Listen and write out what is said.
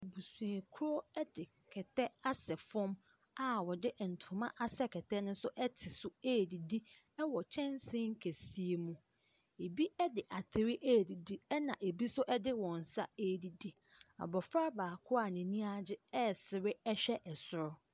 Abusuakuo de kɛtɛ asɛ fam a wɔde ntoma asɛ kɛtɛ no so te so redidi wɔ kyɛnse kɛseɛ mu. Ebi de atere redidi, ɛnna ebi nso de wɔn nsa redidi. Abɔfra baako a n'ani agye resere rehwɛ soro.